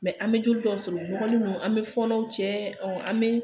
an be joli dɔw sɔrɔ u nɔkɔlen don , an be fɔɔnɔw cɛ, an be